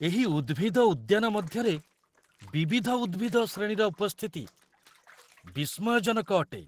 ଏହି ଉଦ୍ଭିଦ ଉଦ୍ୟାନ ମଧ୍ୟରେ ବିବିଧ ଉଦ୍ଭିଦ ଶ୍ରେଣୀର ଉପସ୍ଥିତି ବିସ୍ମୟଜନକ ଅଟେ!